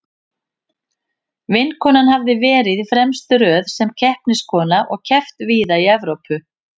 Vinkonan hafði verið í fremstu röð sem keppniskona og keppt víða í Evrópu.